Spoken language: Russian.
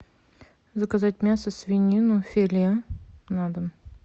заказать мясо свинины филе на дом